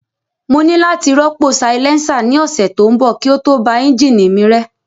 Mo ní láti rọ́pò silencer ní ọ̀sẹ̀ tó ń bọ̀ kí ó tó ba ẹ́ńjìnì mi rẹ́